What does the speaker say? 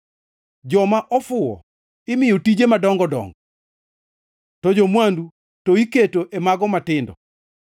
Joma ofuwo imiyo tije madongo dongo, to jo-mwandu to iketo e mago matindo.